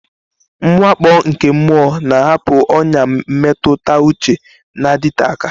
Mwakpo nke mmụọ na-ahapụ ọnyà mmetụta uche na-adịte aka.